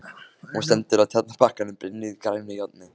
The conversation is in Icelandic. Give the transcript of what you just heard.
Hún stendur á Tjarnarbakkanum, brynjuð grænu járni.